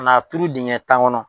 Ka n'a turu dingɛ tan kɔnɔ.